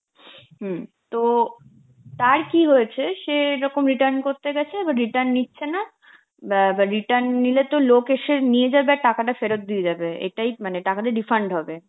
হম তো তার কি হয়েছে, সে যখন return করতে গেছে, return নিচ্ছে না, ব্যা ব্যা return নিলে তো লোক এসে নিয়ে যাবে আর টাকাটা ফেরত দিয়ে যাবে, এটাই মানে টাকাটা refund হবে.